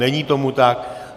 Není tomu tak.